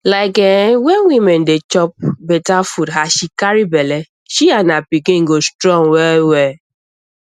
like[um]wen woman dey chop better food as she carry belle she and her pikin go strong well well